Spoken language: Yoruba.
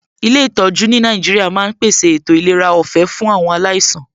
Ilé ìtọjú ní Nàìjíríà ma ń pèsè ètò ìlera ọ̀fẹ́ fún awon alaisan